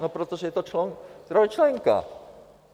No protože je to trojčlenka.